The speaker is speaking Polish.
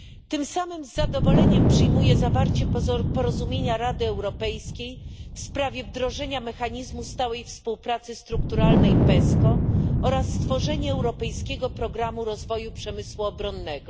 Tym samym z zadowoleniem przyjmuję zawarcie przez Radę Europejską porozumienia w sprawie wdrożenia mechanizmu stałej współpracy strukturalnej PESCO oraz stworzenie europejskiego programu rozwoju przemysłu obronnego.